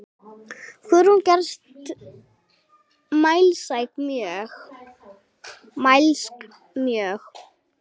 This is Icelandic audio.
Guðrún gerðist mælsk mjög.